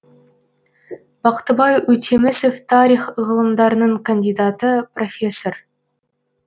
бақтыбай өтемісов тарих ғылымдарының кандидаты профессор